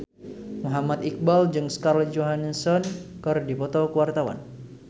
Muhammad Iqbal jeung Scarlett Johansson keur dipoto ku wartawan